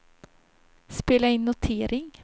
spela in notering